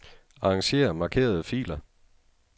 Arranger markerede filer.